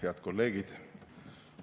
Head kolleegid!